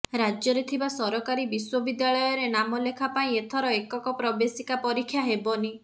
ରାଜ୍ୟରେ ଥିବା ସରକାରୀ ବିଶ୍ବବିଦ୍ୟାଳୟରେ ନାମଲେଖା ପାଇଁ ଏଥର ଏକକ ପ୍ରବେଶିକା ପରୀକ୍ଷା ହେବନି